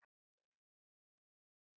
En leigan er nokkuð há.